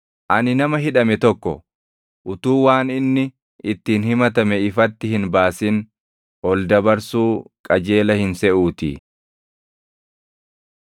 Ani nama hidhame tokko utuu waan inni ittiin himatame ifatti hin baasin ol dabarsuu qajeela hin seʼuutii.”